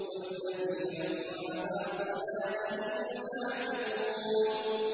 وَالَّذِينَ هُمْ عَلَىٰ صَلَاتِهِمْ يُحَافِظُونَ